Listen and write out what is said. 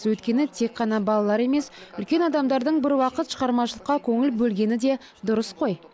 өйткені тек қана балалар емес үлкен адамдардың бір уақыт шығармашылыққа көңіл бөлгені де дұрыс қой